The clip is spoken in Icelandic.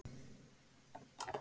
Þetta var svo gaman.